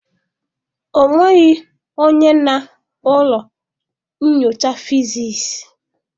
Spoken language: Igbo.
Ọ nweghị onye na ụlọ nyocha fịziisii.